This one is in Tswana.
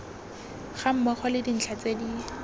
gammogo le dintlha tse di